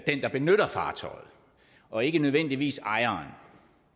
den der benytter fartøjet og ikke nødvendigvis ejeren